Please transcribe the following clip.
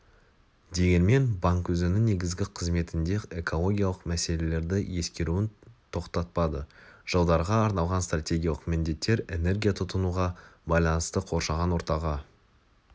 дегенмен банк өзінің негізгі қызметінде экологиялық мәселелерді ескеруін тоқтатпады жылдарға арналған стратегиялық міндеттер энергия тұтынуға байланысты қоршаған ортаға